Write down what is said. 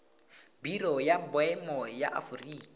biro ya boemo ya aforika